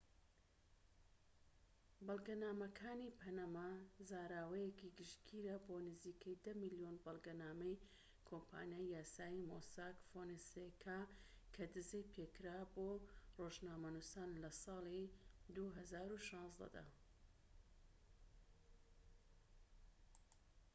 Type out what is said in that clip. "بەڵگەنامەکانی پەنەما زاراوەیەکی گشتگیرە بۆ نزیکەی ١٠ ملیۆن بەڵگەنامەی کۆمپانیای یاسایی مۆساك فۆنسێکا کە دزەی پێکرا بۆ ڕۆژنامەنوسان لە ساڵی ٢٠١٦ دا